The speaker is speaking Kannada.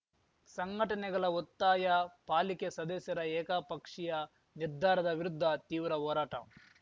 ಸಂಘಟನೆಗಲ ಒತ್ತಾಯ ಪಾಲಿಕೆ ಸದಸ್ಯರ ಏಕಪಕ್ಷೀಯ ನಿರ್ಧಾರದ ವಿರುದ್ಧ ತೀವ್ರ ಹೋರಾಟ